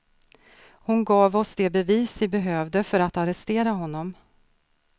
Hon gav oss de bevis vi behövde för att arrestera honom.